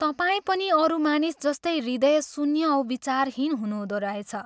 तपाईं पनि अरू मानिस जस्तै हृदयशून्य औ विचारहीन हुनुहँदो रहेछ।